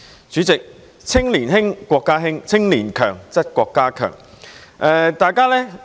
主席，"青年興則國家興，青年強則國家強"。